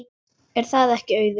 Er það ekki Auður?